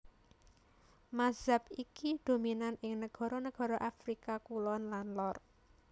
Mazhab iki dominan ing nagara nagara Afrika Kulon dan Lor